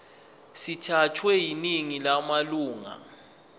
sithathwe yiningi lamalunga